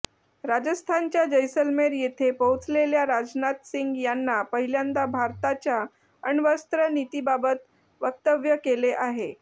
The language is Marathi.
राजस्थानच्या जैसलमेर येथे पोहचलेल्या राजनाथ सिंग यांना पहिल्यांदा भारताच्या अणवस्त्र नीतीबाबत वक्तव्य केले आहे